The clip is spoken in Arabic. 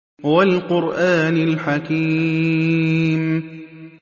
وَالْقُرْآنِ الْحَكِيمِ